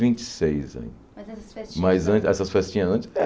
Vinte e seis anos Mas essas festinhas Mas antes essas festinhas antes?